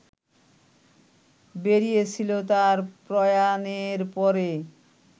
বেরিয়েছিল তাঁর প্রয়াণের পরে